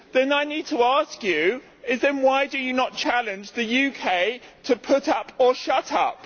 I need to ask you then why do you not challenge the UK to put up or shut up?